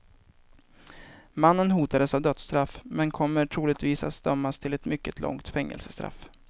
Mannen hotas av dödsstraff men kommer troligtvis att dömas till ett mycket långt fängelsestraff.